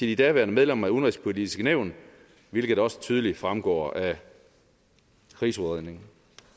de daværende medlemmer af udenrigspolitisk nævn hvilket også tydeligt fremgår af krigsudredningen